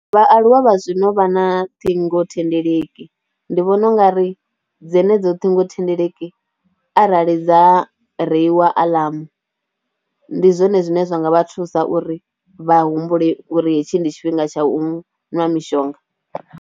Vhaaluwa vha zwino vha na ṱhingothendeleki, ndi vhona u nga ri dzenedzo ṱhingothendeleki arali dza reiwa alarm, ndi zwone zwine zwa nga vha thusa uri vha humbule uri hetshi ndi tshifhinga tsha u ṅwa mishonga.